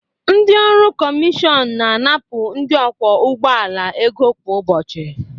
Ndị ọrụ Komision na-anapụ ndị ọkwọ ụgbọ ala ego kwa ụbọchị